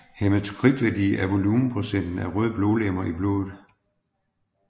Hæmatokritværdi er volumenprocenten af røde blodlegemer i blodet